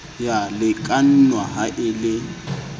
ya lekanngwa ha e le